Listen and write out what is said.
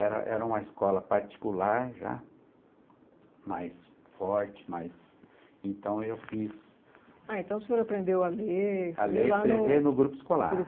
Era era uma escola particular já, mais forte, mais... Então eu fiz... Ah, então o senhor aprendeu a ler... A ler e escrever no grupo escolar.